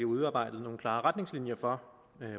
udarbejdes nogle klare retningslinjer for